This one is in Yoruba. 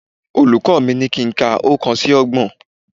Olùkọ́ mi ní kí n ka oókan sí ọgbọ̀n